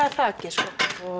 er þakið sko